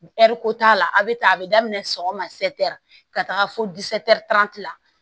Ɛri ko t'a la a be tan a be daminɛ sɔgɔma ka taga fo la